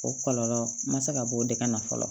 O kɔlɔlɔ ma se ka bɔ o de ka na fɔlɔ